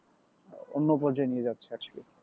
অন্য পর্যায়ে নিয়ে যাচ্ছে আজকে